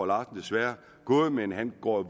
larsen desværre gået men han går